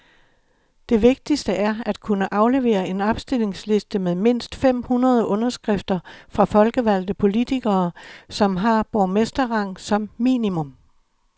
Det vigtigste er at kunne aflevere en opstillingsliste med mindst fem hundrede underskrifter fra folkevalgte politikere, som har borgmesterrang som minimum.